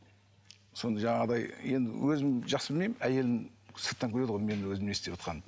сонда жаңағыдай енді өзім жақсы білмеймін әйелім сырттан көреді ғой мен өзім не істеватқанымды